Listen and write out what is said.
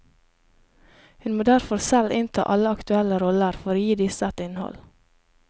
Hun må derfor selv innta alle aktuelle roller for å gi disse et innhold.